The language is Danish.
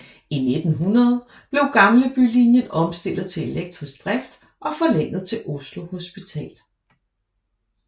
I 1900 blev Gamlebylinjen omstillet til elektrisk drift og forlænget til Oslo Hospital